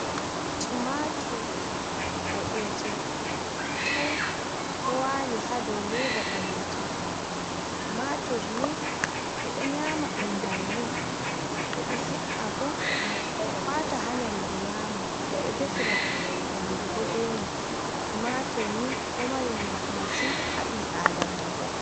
Tumatur ɓoɗjum coi ɗo wali haa dow leda ɓalejum. Tumatur nii ɓe ɗo nyama ɗum bannin, ɓe ɗo he’a bo wata haa nyamdu nyama, ɓe ɗo defira nyamdu bo ɓe mai. Tumatur nii ɗo mari nafu masin haa ɓand ɓi aadamajo.